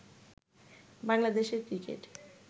বাংলাদেশের ক্রিকেট